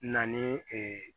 Na ni